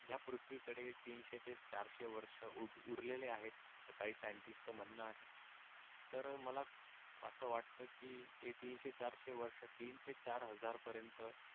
या पृथ्वीकडे तीनशे ते चारशे वर्ष उर उरलेले आहेत आस काही सायंटिस्टच म्हणण आहे तर मला आस वाटत की हे तीनशे चारशे वर्ष तीन ते चार हजार पर्यंत